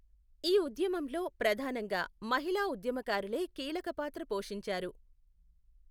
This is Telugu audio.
ఈ ఉద్యమంలో ప్రధానంగా మహిళా ఊధ్యమకారులే కీలక పాత్ర పోషించారు.